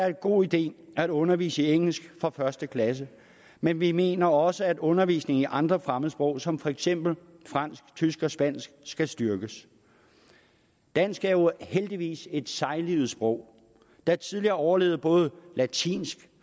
en god idé at undervise i engelsk fra første klasse men vi mener også at undervisningen i andre fremmedsprog som for eksempel fransk tysk og spansk skal styrkes dansk er jo heldigvis et sejlivet sprog der tidligere har overlevet både latinsk